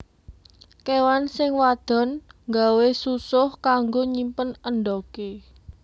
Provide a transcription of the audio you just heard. Kéwan sing wadon nggawé susuh kanggo nyimpen endhogé